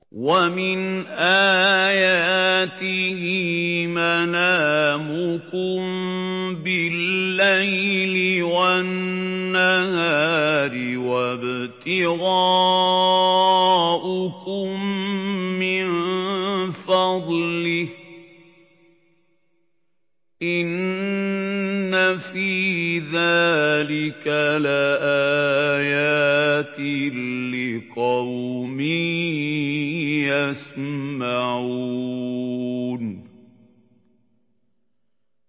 وَمِنْ آيَاتِهِ مَنَامُكُم بِاللَّيْلِ وَالنَّهَارِ وَابْتِغَاؤُكُم مِّن فَضْلِهِ ۚ إِنَّ فِي ذَٰلِكَ لَآيَاتٍ لِّقَوْمٍ يَسْمَعُونَ